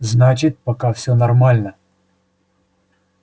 значит пока всё нормально